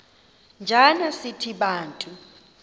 njana sithi bantu